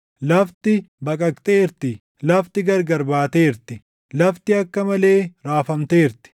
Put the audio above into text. Lafti baqaqxeerti; lafti gargar baateerti; lafti akka malee raafamteerti;